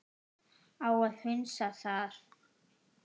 Á að hunsa það?